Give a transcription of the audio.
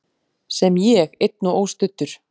Sem ég, einn og óstuddur.